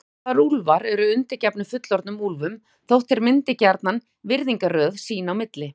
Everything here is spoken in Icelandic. Hálfstálpaðir úlfar eru undirgefnir fullorðnum úlfum þótt þeir myndi gjarnan virðingarröð sín á milli.